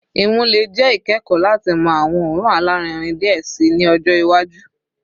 Imu le jẹ ikẹkọ lati mọ awọn oorun alarinrin diẹ sii ni ọjọ iwaju